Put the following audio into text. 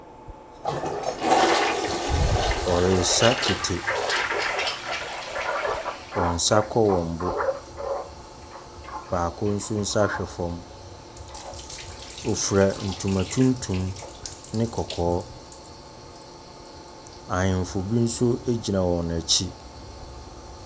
Wɔresa kete. Wɔn nsa kɔ wɔn bo. Baako nso nsa hwɛ fam. Wofira ntoma tuntum ne kɔkɔɔ. Ahenfo bi nso egyina wɔn akyi.